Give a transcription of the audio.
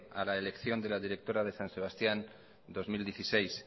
a la elección de la directora de san sebastián dos mil dieciséis